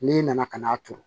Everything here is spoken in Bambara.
N'i nana ka n'a turu